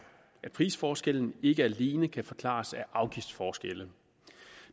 at prisforskellen ikke alene kan forklares af afgiftsforskelle